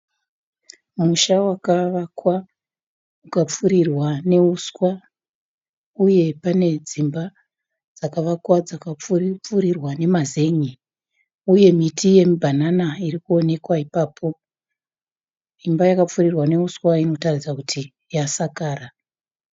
Pamusha wakavakwa ukapfurirwa nehuswa uye pane dzimba dzakavakwa dzakapfurirwa nemazen'e, uye miti yemibhanana iri kuonekwa ipapo. Imba yakapfurirwa nehuswa inoratidza kuti yasakara.